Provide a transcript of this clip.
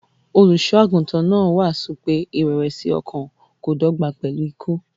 Olùṣọ́-àgùntàn náà wàásù pé ìrẹ̀wẹ̀sì-ọkàn kò dọ́gba pẹ̀lú ikú.